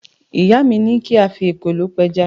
Ìyá mi ní kí a fi ekòló pẹja